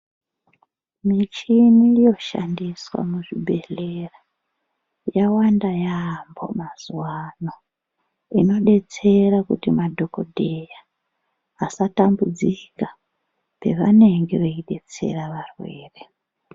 Muchini yoshandiswa muzvibhehlera yawanda yaamho mazuwano, inodetsera kuti madhokodheya asatambudzika pevanenge veidetsera varwere.